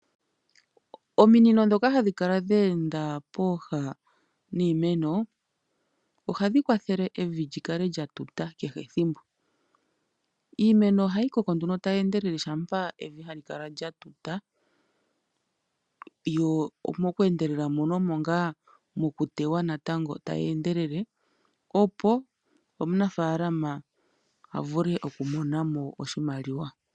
Ominino ndhoka hadhi kala dhe enda pooha niimeno ohadhi kwathele evi li kale lya tuta kehe ethimbo. Iimeno ohayi koko tayi endelele shampa evi hali kala lya tuta. Mokweendelela mono omo ngaa mokuteywa tayi endelele, opo omunafaalama a vule okumona mo oshimaliwa.